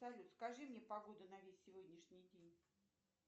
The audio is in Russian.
салют скажи мне погоду на весь сегодняшний день